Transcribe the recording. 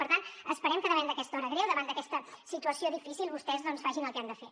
per tant esperem que davant d’aquesta hora greu davant d’aquesta situació difícil vostès doncs facin el que han de fer